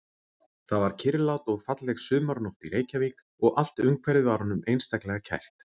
Það var kyrrlát og falleg sumarnótt í Reykjavík og allt umhverfið var honum einstaklega kært.